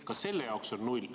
–, ka selle jaoks on 0.